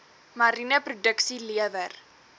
mariene produksie lewer